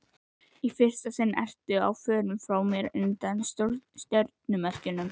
Í fyrsta sinn ertu á förum frá mér undir stjörnumerkjum.